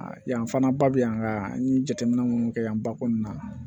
Yan fan ba bɛ yan an ye jateminɛ minnu kɛ yan ba kɔnɔna na